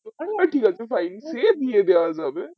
ঠিক আছে ছাড়েন সে দিয়ে দেয় যাব